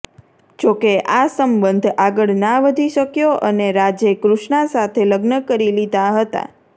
જોકે આ સંબંધ આગળ ના વધી શક્યો અને રાજે કૃષ્ણા સાથે લગ્ન કરી લીધા હતા